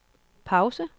pause